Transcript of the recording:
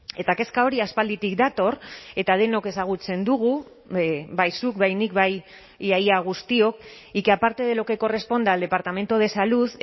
eta kezka hori aspalditik dator eta denok ezagutzen dugu bai zuk bai nik bai ia ia guztiok y que aparte de lo que corresponda al departamento de salud